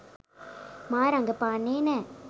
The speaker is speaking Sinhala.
මා රඟපාන්නේ නෑ.